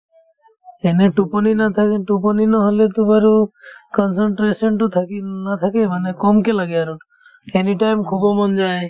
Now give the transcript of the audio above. এনে টোপনি নাথাকে টোপনি নহ'লেতো বাৰু concentration তো থাকি উম নাথাকেই মানে কমকে লাগে আৰু anytime শুব মন যায়